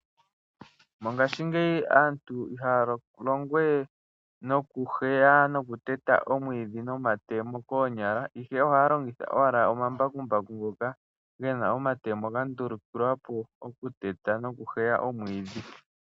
Mongashingeyi aantu ihaya longowe nokuheya nokuteta omwiidhi nomatemo koonyala. Ohaya longitha owala omambakumbaku ngoka gena omatemo gandulukiwapo oku teta nokuheya omwiidhi.